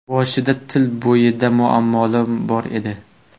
Boshida til bo‘yicha muammolarim bor edi.